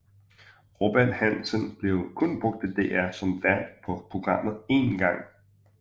Robert Hansen blev kun brugt af DR som vært på programmet én gang